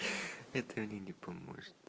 это алине поможет